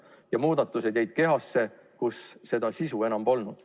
Need muudatused jäid kehasse, kus sisu enam polnud.